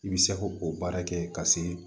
I bɛ se ko o baara kɛ ka se